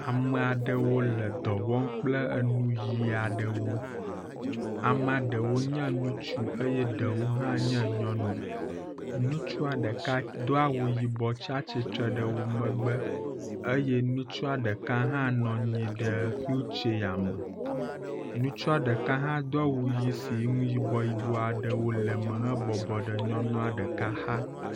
Ame aɖewo le dɔ wɔm kple eŋuʋi aɖewo. Ame ɖewo nye ŋutsu eye ɖewo hã nye nyɔnu. Ŋutsu ɖeka do awu yibɔ tsia tsitre ɖe wo megbe eye ŋutsua ɖeka hã nɔ anyi ɖe wheel tsɛyame. Ŋutsu ɖeka hã do awu ʋi si nu yibɔ yiɔbɔ aɖewo le me hebɔbɔ ɖe nyɔnua ɖeka xa.